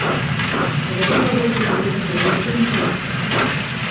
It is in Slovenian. Seveda pa bo potreben določen čas.